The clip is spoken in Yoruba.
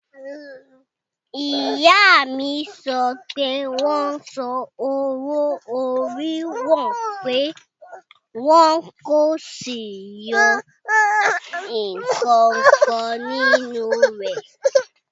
Ìyá mi sọ pé wọ́n san owó-orí òun pé wọ́n kò sì yọ ǹkankan nínú rẹ̀